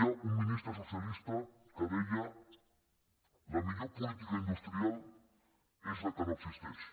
hi havia un ministre socialista que deia la millor política industrial és la que no existeix